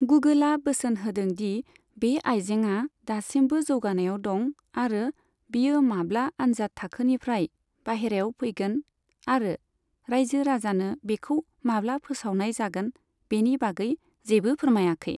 गुगोलआ बोसोन होदों दि बे आइजेंआ दासिमबो जौगानायाव दं आरो बियो माब्ला आनजाद थाखोनिफ्राय बायहेरायाव फैगोन आरो रायजो राजानो बेखौ माब्ला फोसावनाय जागोन बिनि बागै जेबो फोरमायाखै।